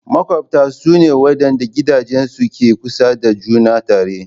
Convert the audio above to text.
Maƙwabta su ne waɗanda gidajensu ke kusa da juna tare.